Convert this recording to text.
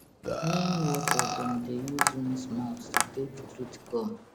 neem water dem dey use rinse mouth to take treat gum